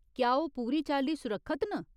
क्या ओह् पूरी चाल्ली सुरक्खत न ?